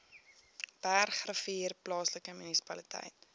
bergrivier plaaslike munisipaliteit